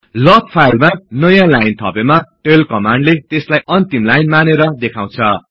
लग फाईलमा नयाँ लाइन थपेमा टेल कमान्डले त्यसलाई अन्तिम लाइन मानेर देखाउछ